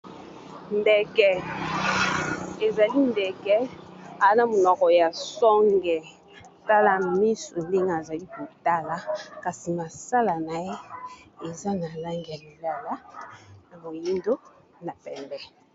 Ndeke, ezali ndeke aza na munoko ya songe, tala misu ndenge a zali ko tala, kasi masala na ye eza na langi ya lilala, na moyindo na pembe .